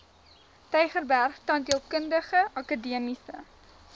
tygerberg tandheelkundige akademiese